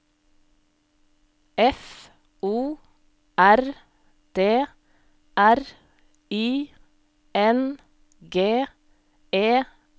F O R D R I N G E R